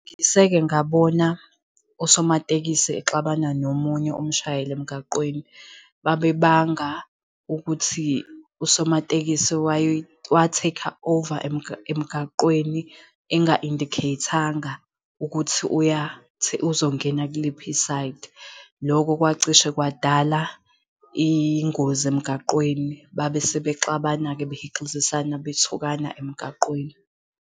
Ngiseke ngabona usomatekisi exabana nomunye umshayeli emgaqweni. Babebanga ukuthi usomatekisi wa-take-a over emgaqweni enga-indicate-anga ukuthi uzongena kuliphi isayidi. Loko kwacisha kwadala ingozi emgaqweni. Babesebexabana-ke behixizisana bethukana emgaqweni.